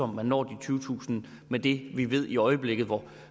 man når de tyvetusind med det vi ved i øjeblikket hvor